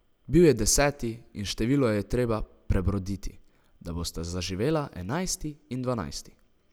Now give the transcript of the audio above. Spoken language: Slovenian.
Bil je deseti in število je treba prebroditi, da bosta žaživela enajsti in dvanajsti.